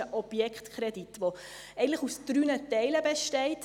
Es ist ein Objektkredit, der eigentlich aus drei Teilen besteht.